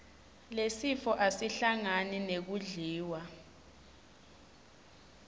lesifo asihlangani nekudliwa